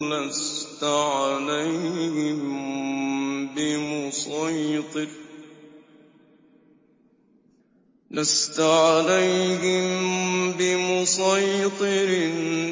لَّسْتَ عَلَيْهِم بِمُصَيْطِرٍ